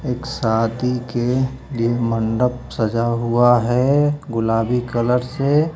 एक शादी के लि मंडप सजा हुआ है गुलाबी कलर से।